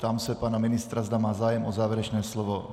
Ptám se pana ministra, zda má zájem o závěrečné slovo.